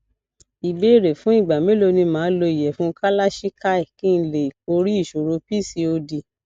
ìbéèrè fún ìgbà mélòó ni ma lo iyefun cs] kalachikai kí n lè borí ìṣòro pcod